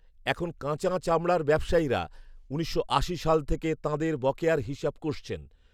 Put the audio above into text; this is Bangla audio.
এখন কাঁচা চামড়া ব্যবসায়ীরা উনিশশো আশি সাল থেকে তাঁদের বকেয়ার হিসাব কষছেন